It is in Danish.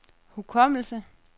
hukommelse